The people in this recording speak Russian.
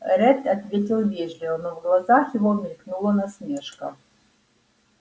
ретт ответил вежливо но в глазах его мелькнула насмешка